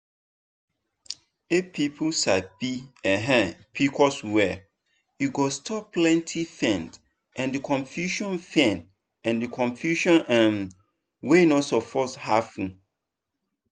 if people sabi um pcos well e go stop plenty pain and confusion pain and confusion um wey no suppose happen.